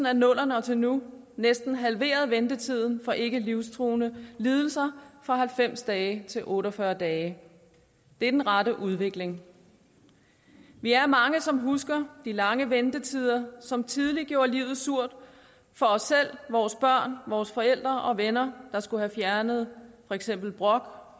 af nullerne og til nu næsten halveret ventetiden for ikkelivstruende lidelser fra halvfems dage til otte og fyrre dage det er den rette udvikling vi er mange som husker de lange ventetider som tidligere gjorde livet surt for os selv vores børn vores forældre og venner der skulle have fjernet for eksempel brok